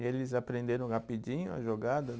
E eles aprenderam rapidinho a jogada?